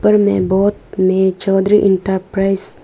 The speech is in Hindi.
ऊपर में बोर्ड में चौधरी एंटरप्राइज --